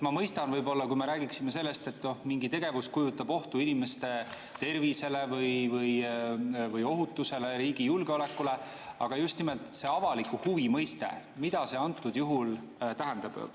Ma mõistan, kui me räägiksime sellest, et mingi tegevus kujutab ohtu inimeste tervisele või ohutusele, riigi julgeolekule, aga just nimelt see avaliku huvi mõiste – mida see antud juhul tähendab?